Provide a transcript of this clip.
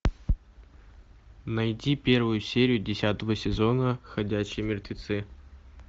найти первую серию десятого сезона ходячие мертвецы